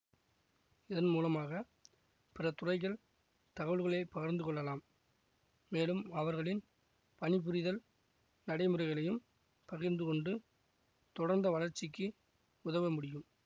இதன் மூலமாக பிற துறைகள் தகவல்களை பகிர்ந்து கொள்ளலாம் மேலும் அவர்களின் பணிபுரிதல் நடைமுறைகளையும் பகிர்ந்து கொண்டு தொடர்ந்த வளர்ச்சிக்கு உதவ முடியும்